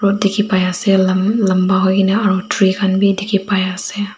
Road dekhi pai ase la lamba hoike ni aru tree khan bhi dekhi pai ase.